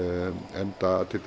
enda